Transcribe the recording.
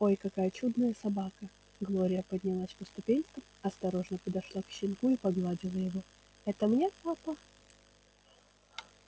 ой какая чудная собака глория поднялась по ступенькам осторожно подошла к щенку и погладила его это мне папа